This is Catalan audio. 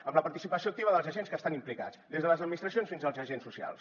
amb la participació activa dels agents que estan implicats des de les administracions fins als agents socials